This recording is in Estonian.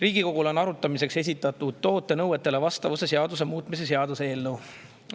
Riigikogule on arutamiseks esitatud toote nõuetele vastavuse seaduse muutmise seaduse eelnõu.